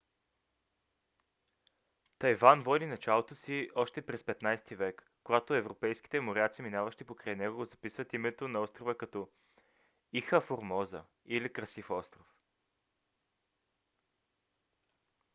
тайван води началото си още през 15 - ти век когато европейските моряци минаващи покрай него записват името на острова като ilha formosa или красив остров